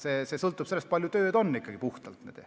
See sõltub sellest, kui palju tööd ikkagi on.